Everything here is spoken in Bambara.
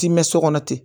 Ti mɛn so kɔnɔ ten